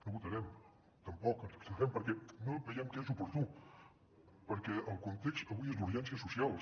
no votarem tampoc ens abstindrem perquè no veiem que sigui oportú perquè el context avui és d’urgències socials